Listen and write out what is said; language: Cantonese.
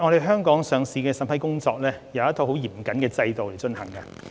香港的上市審批工作按照一套十分嚴謹的制度進行。